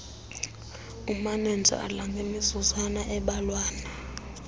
umanenjala ngemizuzwana embalwana